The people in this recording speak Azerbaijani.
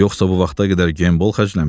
Yoxsa bu vaxta qədər gembol xərcləmişəm.